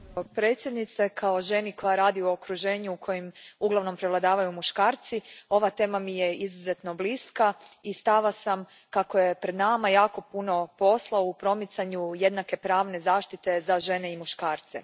Gospođo predsjednice, kao ženi koja radi u okruženju u kojem uglavnom prevladavaju muškarci, ova tema mi je izuzetno bliska i stava sam kako je pred nama jako puno posla u promicanju jednake pravne zaštite za žene i muškarce.